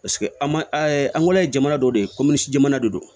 Paseke an man angulɔ ye jamana dɔ de ye komi jamana de don